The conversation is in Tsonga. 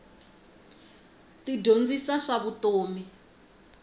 ti dyondzisa swa vutomi